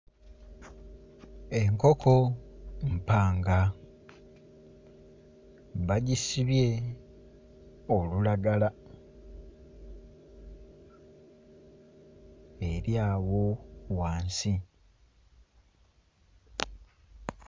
Enkoko mpanga bagisibye olulagala eri awo wansi.